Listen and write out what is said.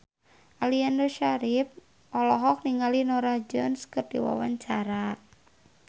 Aliando Syarif olohok ningali Norah Jones keur diwawancara